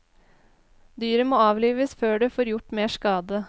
Dyret må avlives før det får gjort mer skade.